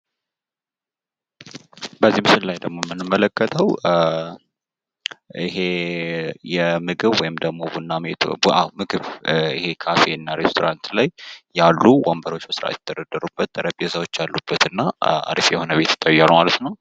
በዚህ ምስል ላይ ደግሞ የምንመለከተው ይሄ የምግብ ወይም ቡና ቤት ምግብ ካፌ እና ሬስቶራንት ላይ ያሉ ወንበሮች በስርዓት የተደረደሩበት ጠረንጴዛወች ያሉበት እና አሪፍ የሆነ ቤት ይታያል ማለት ነው።